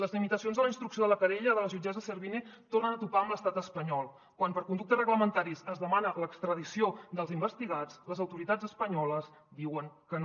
les limitacions de la instrucció de la querella de la jutgessa servini tornen a topar amb l’estat espanyol quan per conductes reglamentaris es demana l’extradició dels investigats les autoritats espanyoles diuen que no